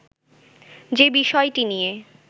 যে বিষয়টি নিয়ে